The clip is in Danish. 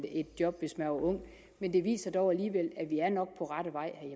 et job men det viser dog alligevel